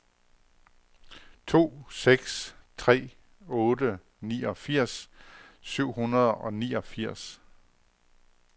to seks tre otte niogfirs syv hundrede og niogfirs